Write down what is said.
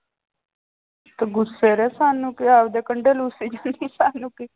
ਕਿ ਗੁੱਸੇ ਰਹੇ ਸਾਨੂੰ ਕੀ ਆਪਦੇ ਕੰਡੇ ਰੁੱਸੀ ਜਾਂਦੀ ਸਾਨੂੰ ਕੀ।